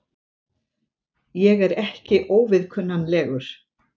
Ég er ekki óviðkunnanlegur.